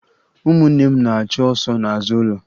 Ụmụnne m na-achụ ọsọ n'azụ ụlọ